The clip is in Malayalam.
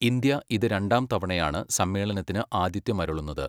ഇന്ത്യ ഇത് രണ്ടാം തവണയാണ് സമ്മേളനത്തിന് ആഥിത്യമരുളുന്നത്.